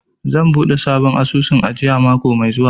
Zan buɗe sabon asusun ajiya mako mai zuwa.